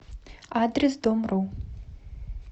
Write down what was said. адрес домру